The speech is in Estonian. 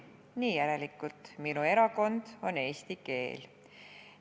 Nii järelikult: minu erakond on eesti keel.